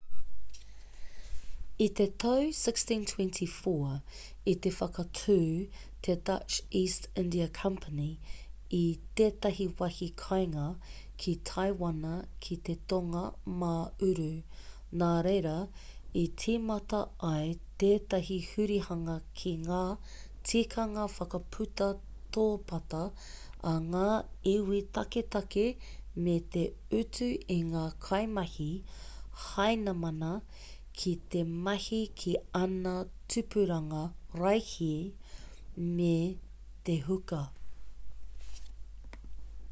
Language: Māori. i te tau 1624,i te whakatū te dutch east india company i tētahi wāhi kāinga ki taiwana ki te tonga mā uru nā reira i tīmata ai tētahi hurihanga ki ngā tikanga whakaputa tōpata a ngā iwi taketake me te utu i ngā kaimahi hainamana ki te mahi ki āna tupuranga raihi me te huka